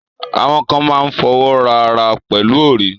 Awọn kàn mà n fọ́wọ́ra arà pẹ̀lú orí.